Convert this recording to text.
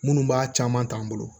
Minnu b'a caman ta an bolo